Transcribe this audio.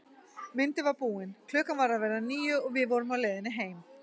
Myndin var búin, klukkan var að verða níu og við vorum á leiðinni heim.